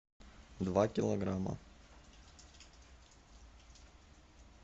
два килограмма